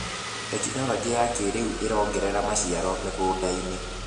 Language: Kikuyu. Tekinologĩ ya kĩrĩũ ĩrongerera maciaro mĩgũndainĩ.